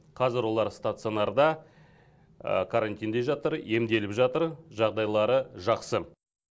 қазір олар сатационарда карантинде жатыр емделіп жатыр жағдайлары жақсы